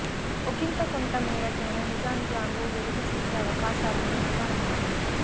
ఒకింత కొంత మేరకైనా నిజానిజాలు వెలుగు చూసే అవకాశాలు మెండుగా ఉన్నాయి